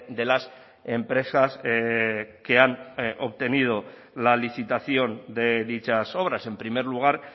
de las empresas que han obtenido la licitación de dichas obras en primer lugar